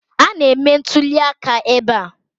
A na-eme ntụliaka ebe a